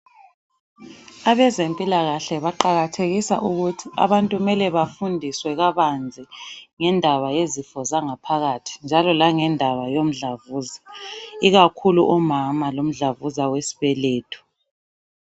Abezempilakahle baqakathekisa ukuthi abantu kumele bafundiswe kabanzi ngendaba yezifo zangaphakathi njalo langendaba yemdlavuza. Ikakhulu omama lo mdlavuza wesibeletho.